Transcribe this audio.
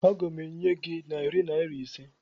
Aga m enye gị narị naira ise